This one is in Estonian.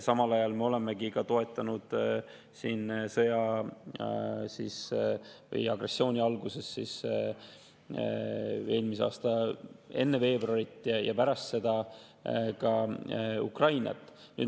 Samal ajal me oleme toetanud sõja või agressiooni algusest, enne eelmise aasta veebruarit ja pärast seda Ukrainat.